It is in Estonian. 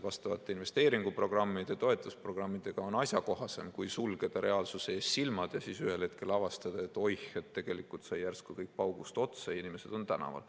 vastavate investeeringuprogrammide ja toetusprogrammidega on asjakohasem kui sulgeda reaalsuse ees silmad ja siis ühel hetkel avastada, et oih, tegelikult sai järsku kõik paugust otsa ja inimesed on tänaval.